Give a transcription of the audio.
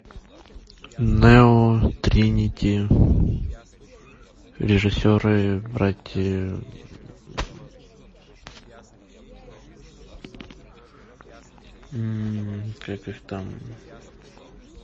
нео тринити режиссеры братья как их там